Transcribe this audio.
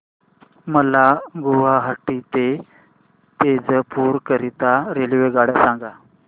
मला गुवाहाटी ते तेजपुर करीता रेल्वेगाडी सांगा